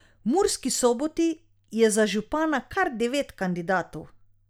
V Murski Soboti je za župana kar devet kandidatov.